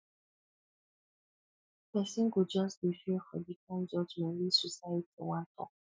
pesin go jus dey fear for di kain judgement wey society wan tok